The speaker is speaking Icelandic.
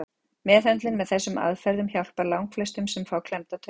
Meðhöndlun með þessum aðferðum hjálpar langflestum sem fá klemmda taug.